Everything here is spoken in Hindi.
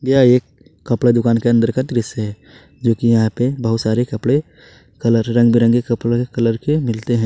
यह एक कपड़ा दुकान के अंदर का दृश्य है जो कि यहां पे बहुत सारे कपड़े कलर रंग बिरंगे कपड़ों के कलर के मिलते हैं।